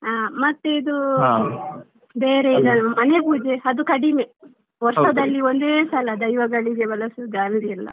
ಹಾ ಮತ್ತೆ ಇದು ಮನೆ ಪೂಜೆ ಅದು ಕಡಿಮೆ ವರ್ಷದಲ್ಲಿ ಒಂದೇ ಸಲ ದೈವಗಳಿಗೆ ಬಲಸುದು .